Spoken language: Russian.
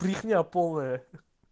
брехня полная